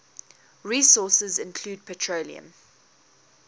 resources include petroleum